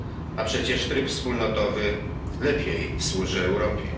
a przecież tryb wspólnotowy lepiej służy Europie.